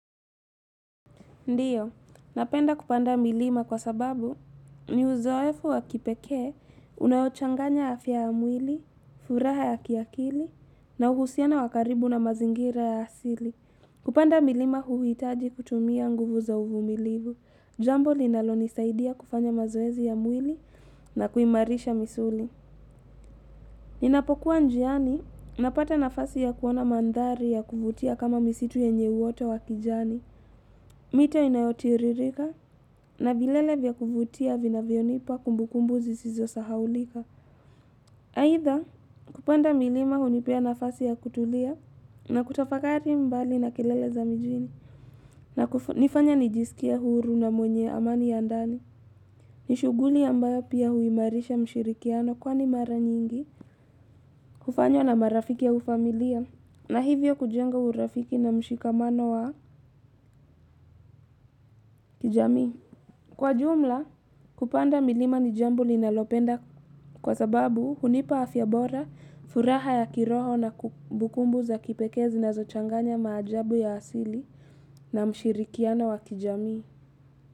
Ndio, napenda kupanda milima kwa sababu ni uzoefu wa kipekee unaochanganya afya ya mwili, furaha ya kiakili na uhusiano wa karibu na mazingira ya asili. Kupanda milima huitaji kutumia nguvu za uvumilivu. Jambo linalonisaidia kufanya mazoezi ya mwili na kuimarisha misuli. Ninapokuwa njiani, napata nafasi ya kuona mandari ya kuvutia kama misitu yenye uota wa kijani. Mito inayotiririka na vilele vya kuvutia vinavyonipa kumbukumbu zisizosahaulika. Aidha, kupanda milima hunipea nafasi ya kutulia na kutafakari mbali na kelele za mijini. Na kufanya nijisikie huru na mwenye amani ya ndani. Ni shughuli ambayo pia huimarisha mshirikiano kwani mara nyingi. Kufanywa na marafiki au familia na hivyo kujenga urafiki na mshikamano wa kijamii. Kwa jumla, kupanda milima ni jambo linalopenda kwa sababu hunipa afya bora, furaha ya kiroho na kumbukumbu za kipekee zinazochanganya maajabu ya asili na mshirikiano wa kijamii.